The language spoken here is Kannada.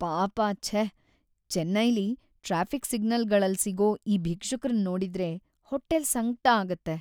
ಪಾಪ ಛೇ.. ಚೆನ್ನೈಲಿ ಟ್ರಾಫಿಕ್‌ ಸಿಗ್ನಲ್‌ಗಳಲ್ ಸಿಗೋ ಈ ಭಿಕ್ಷುಕ್ರನ್ ನೋಡಿದ್ರೇ ಹೊಟ್ಟೆಲ್‌ ಸಂಕ್ಟ ಆಗತ್ತೆ.